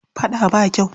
Faɗa ba kyau.